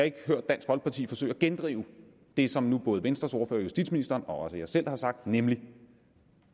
ikke hørt dansk folkeparti forsøge at gendrive det som nu både venstres ordfører justitsministeren og også jeg selv har sagt nemlig at